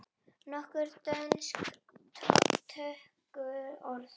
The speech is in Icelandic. Nokkur dönsk tökuorð